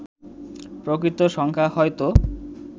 প্রকৃত সংখ্যা হয়তো